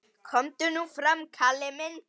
Komdu nú fram, Kalli minn!